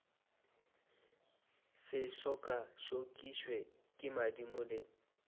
se tšokatšokišwe ke madimo le